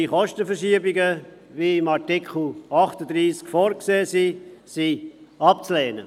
Die Kostenverschiebungen, die in Artikel 38a vorgesehen sind, sind abzulehnen.